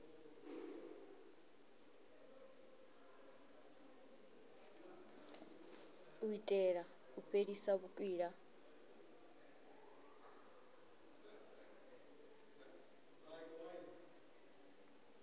u itela u fhelisa vhukwila